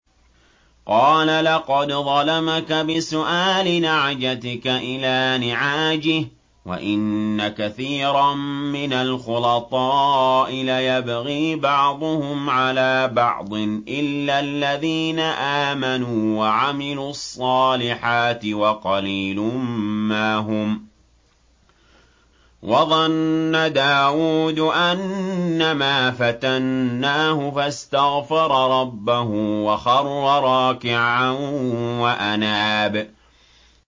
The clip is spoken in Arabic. قَالَ لَقَدْ ظَلَمَكَ بِسُؤَالِ نَعْجَتِكَ إِلَىٰ نِعَاجِهِ ۖ وَإِنَّ كَثِيرًا مِّنَ الْخُلَطَاءِ لَيَبْغِي بَعْضُهُمْ عَلَىٰ بَعْضٍ إِلَّا الَّذِينَ آمَنُوا وَعَمِلُوا الصَّالِحَاتِ وَقَلِيلٌ مَّا هُمْ ۗ وَظَنَّ دَاوُودُ أَنَّمَا فَتَنَّاهُ فَاسْتَغْفَرَ رَبَّهُ وَخَرَّ رَاكِعًا وَأَنَابَ ۩